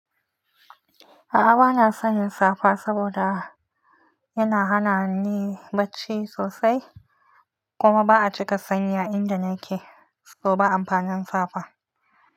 A'a bana son yin safa saboda yana hana ni bacci sosai, kuma ba'a cika sanyi a inda nake, to ba amfanin safa.